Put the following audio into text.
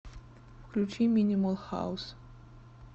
включи минимал хаус